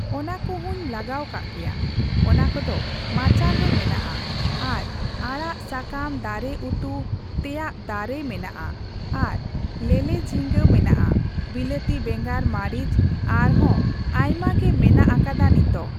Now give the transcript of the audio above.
ᱚᱱᱟ ᱠᱚᱦᱚᱸᱧ ᱞᱟᱜᱟᱣ ᱠᱟᱜ ᱜᱮᱭᱟ, ᱚᱱᱟ ᱠᱚᱫᱚ ᱢᱟᱪᱟᱱ ᱨᱮ ᱢᱮᱱᱟᱜᱼᱟ ᱟᱨ ᱟᱲᱟᱜ ᱥᱟᱠᱟᱢ ᱫᱟᱨᱮ ᱩᱛᱩ ᱛᱮᱭᱟᱜ ᱫᱟᱨᱮ ᱢᱮᱱᱟᱜᱼᱟ ᱟᱨ ᱞᱮᱞᱮᱡᱷᱤᱜᱟᱹ ᱢᱮᱱᱟᱜᱼᱟ, ᱵᱤᱞᱟᱹᱛᱤ ᱵᱮᱸᱜᱟᱱ ᱢᱟᱨᱤᱪ ᱟᱨ ᱦᱚᱸ ᱟᱭᱢᱟ ᱜᱮ ᱢᱮᱱᱟᱜ ᱟᱠᱟᱫᱟ ᱱᱤᱛᱚᱜ᱾